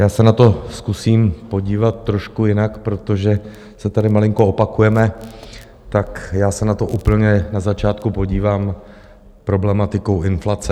Já se na to zkusím podívat trošku jinak, protože se tady malinko opakujeme, tak já se na to úplně na začátku podívám problematikou inflace.